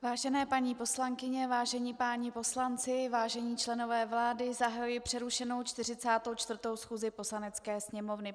Vážené paní poslankyně, vážení páni poslanci, vážení členové vlády, zahajuji přerušenou 44. schůzi Poslanecké sněmovny.